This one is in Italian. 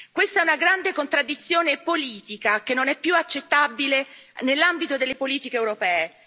Questa è una grande contraddizione politica che non è più accettabile nell'ambito delle politiche europee.